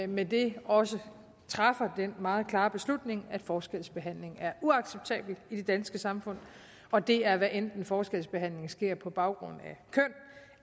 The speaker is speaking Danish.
med det også træffer den meget klare beslutning at forskelsbehandling er uacceptabelt i det danske samfund og det er hvad enten forskelsbehandlingen sker på baggrund